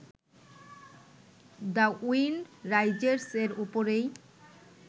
the wind rises এর ওপরেই